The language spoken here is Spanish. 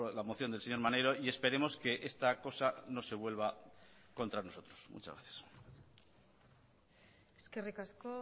la moción del señor maneiro y esperemos que esta cosa no se vuelva contra nosotros muchas gracias eskerrik asko